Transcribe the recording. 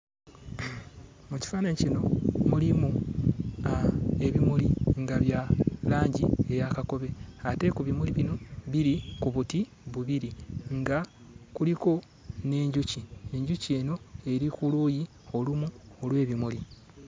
Mu kifaananyi kino mulimu aa ebimuli nga bya langi eya kakobe ate ku bimuli bino biri ku buti bubiri nga kuliko n'enjuki enjuki eno eri ku luuyi olumu olw'ebimuli.